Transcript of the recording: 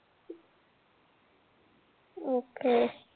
Okay.